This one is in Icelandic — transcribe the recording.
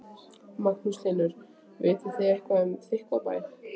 Magnús Hlynur: Vitið þið eitthvað um Þykkvabæ?